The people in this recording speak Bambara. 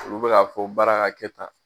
Olu bɛ k'a fɔ baara ka kɛ tan.